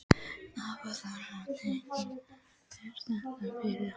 Hafþór: Og teiknaðirðu þetta fyrir hann?